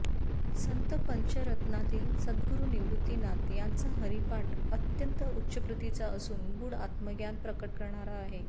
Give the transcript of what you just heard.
संत पंचरत्नांतील सद्गुरू निवृत्तीनाथ यांचा हरिपाठ अत्यंत उच्च प्रतीचा असून गूढ आत्मज्ञान प्रकट करणारा आहे